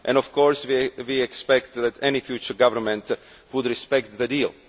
Of course, we expect that any future government would respect the deal.